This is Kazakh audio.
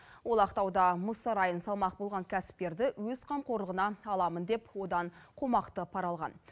ол ақтауда мұз сарайын салмақ болған кәсіпкерді өз қамқорлығына аламын деп одан қомақты пара алған